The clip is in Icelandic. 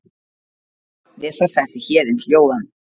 Við það setti Héðin hljóðan.